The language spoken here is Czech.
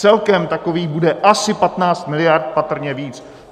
Celkem takových bude asi 15 miliard, patrně více.